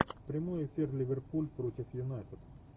прямой эфир ливерпуль против юнайтед